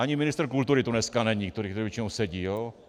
Ani ministr kultury tu dneska není, který tu většinou sedí.